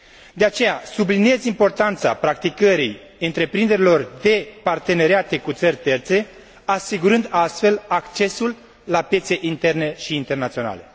De aceea, subliniez importanța practicării întreprinderilor în parteneriate cu țări terțe, asigurând astfel accesul la piețe interne și internaționale.